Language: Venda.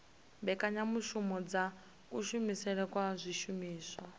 mbekanyamushumo dza kushumisele kwa zwishumiswa